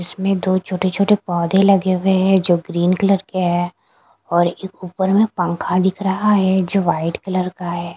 इसमें दो छोटे छोटे पौधे लगे हुए हैं जो ग्रीन कलर के है और एक ऊपर में पंखा दिख रहा है जो वाइट कलर का है।